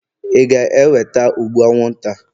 ị ga-eweta ụgbụ anwụnta?